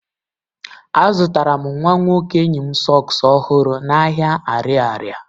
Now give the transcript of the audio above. Azụtara m nwa nwoke enyi m sọks ọhụrụ n'ahịa ariaria.